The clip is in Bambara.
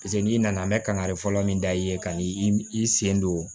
Paseke n'i nana n bɛ kankari fɔlɔ min da i ye kan'i sen don